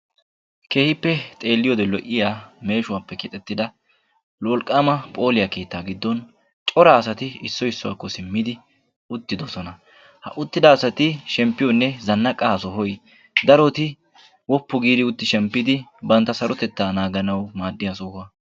keehippe xeeliyode lo"iya meesho keettani corra assati uttidossona ha sohoykka zanaqiyo soho gidishin daro assay shempi ekkanaw maadessi.